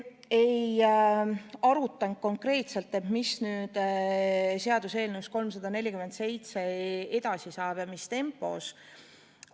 Me ei arutanud konkreetselt, mis seaduseelnõust 347 edasi saab ja mis tempos.